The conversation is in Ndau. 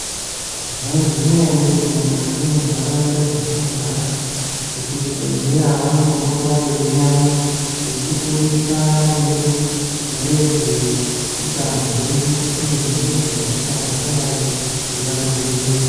Maiziya ere kuti mukati me ndaraunda dzatino gara vekuzvi bhedhleya vanombo pota vei uyamwo veiti fundisa maringe ngezve utano hwedu iye ngezve hosha dzinga dai dzeida ku dzivirirwa.